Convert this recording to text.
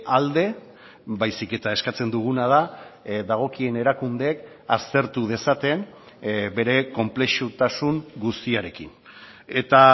alde baizik eta eskatzen duguna da dagokien erakundeek aztertu dezaten bere konplexutasun guztiarekin eta